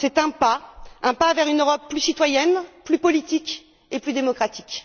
C'est un pas, un pas vers une Europe plus citoyenne, plus politique et plus démocratique.